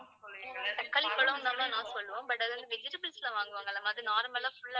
தக்காளிப்பழம் தான் ma'am நாம் சொல்லுவோம். but அது வந்து vegetables ல வாங்குவாங்க இல்லை ma'am அது normal ஆ full ஆ